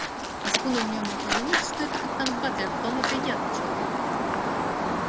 на секунду у неё мелькнула мысль что это капитан батлер вполне приятный человек